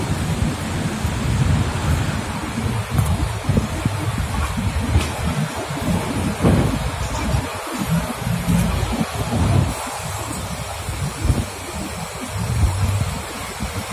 Idol inkutitik udot enkare nemanita osirata sikitoi